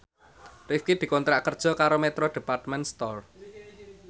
Rifqi dikontrak kerja karo Metro Department Store